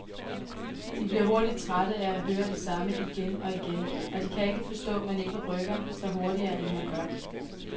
De bliver hurtigt trætte af at høre det samme igen og igen, og de kan ikke forstå, man ikke rykker sig hurtigere end man gør.